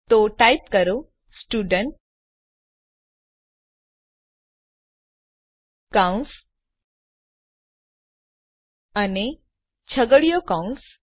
તો ટાઈપ કરો સ્ટુડન્ટ કૌંસ અને છગડીયો કૌંસ